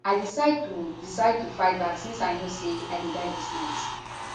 i decide to decide to fight back since i know say i go die dis night